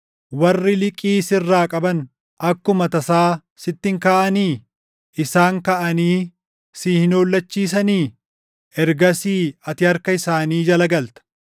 Warri liqii sirraa qaban akkuma tasaa sitti hin kaʼanii? Isaan kaʼanii si hin hollachiisanii? Ergasii ati harka isaanii jala galta.